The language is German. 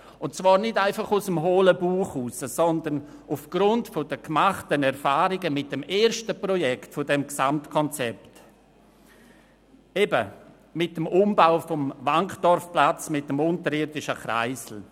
Und zwar geschah dies nicht einfach aus dem hohlen Bauch heraus, sondern aufgrund der Erfahrungen mit dem ersten Projekt des Gesamtprojekts, dem Umbau des Wankdorfplatzes mit dem unterirdischen Kreisel.